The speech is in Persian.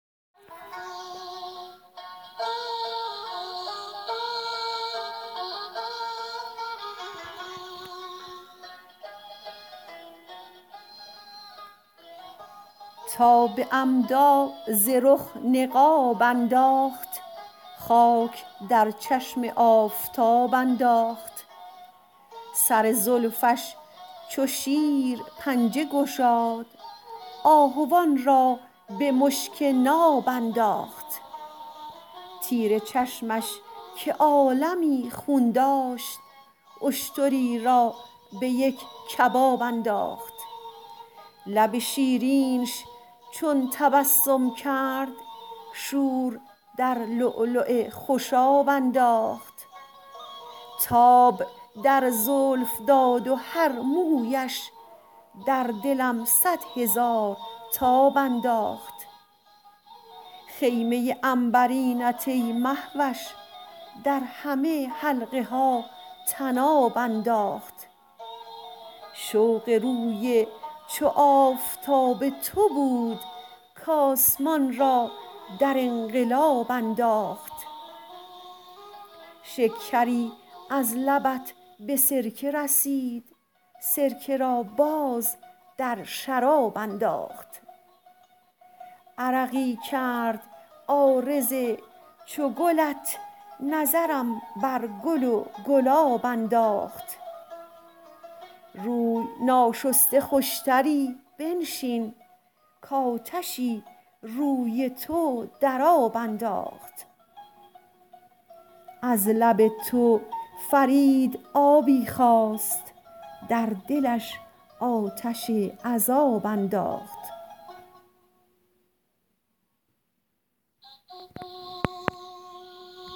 تا به عمدا ز رخ نقاب انداخت خاک در چشم آفتاب انداخت سر زلفش چو شیر پنجه گشاد آهوان را به مشک ناب انداخت تیر چشمش که عالمی خون داشت اشتری را به یک کباب انداخت لب شیرینش چون تبسم کرد شور در لؤلؤ خوشاب انداخت تاب در زلف داد و هر مویش در دلم صد هزار تاب انداخت خیمه عنبرینت ای مهوش در همه حلقها طناب انداخت شوق روی چو آفتاب تو بود کاسمان را در انقلاب انداخت شکری از لبت به سرکه رسید سرکه را باز در شراب انداخت عرقی کرد عارض چو گلت نظرم بر گل و گلاب انداخت روی ناشسته خوشتری بنشین کاتشی روی تو در آب انداخت از لب تو فرید آبی خواست در دلش آتش عذاب انداخت